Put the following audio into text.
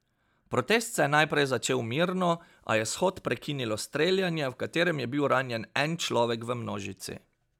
Protest se je najprej začel mirno, a je shod prekinilo streljanje, v katerem je bil ranjen en človek v množici.